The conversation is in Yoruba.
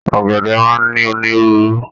Ọgẹdẹ máa n ní onírúurú.